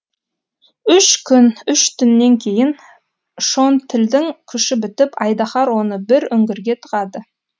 үш күн үш түннен кейін шонтілдің күші бітіп айдаһар оны бір үңгірге тығады